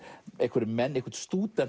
einhverjir menn eitthvert